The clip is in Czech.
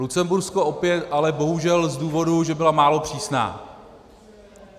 Lucembursko opět ale bohužel z důvodu, že byla málo přísná.